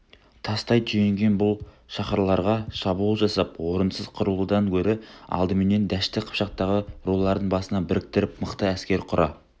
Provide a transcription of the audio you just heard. тастай түйінген бұл шаһарларға шабуыл жасап орынсыз қырылудан гөрі алдыменен дәшті қыпшақтағы рулардың басын біріктіріп мықты әскер құра